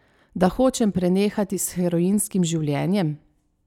Da hočem prenehati s heroinskim življenjem.